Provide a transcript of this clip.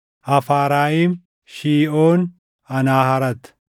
Hafaarayim, Shiiʼoon, Anaaharat,